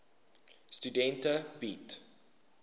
studente bied